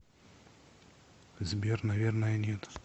сбер наверное нет